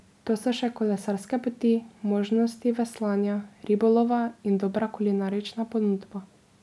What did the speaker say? Tu so še kolesarske poti, možnosti veslanja, ribolova in dobra kulinarična ponudba.